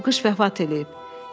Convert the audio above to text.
Bu qış vəfat eləyib.